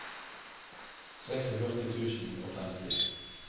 førtiseks tusen og femti